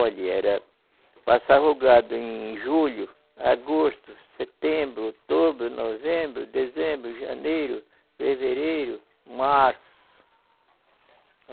Olhe, era, passava o gado em julho, agosto, setembro, outubro, novembro, dezembro, janeiro, fevereiro, março.